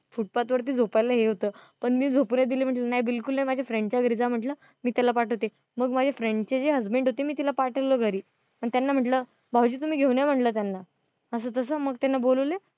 foothpath वरती झोपायला हे होत. पण मी झोपू नई दिल म्हटलं नई बिलकुल नाई माझ्या friend च्या घरी जा म्हंटल मी त्याला पाठवते मग माझ्या friend चे जे husband होते मी तिला पाठवलं घरी पण त्यांना म्हंटल भाऊजी तुम्ही घेऊन या म्हंटल त्यांना. असं तस मग त्यांना बोलावलं.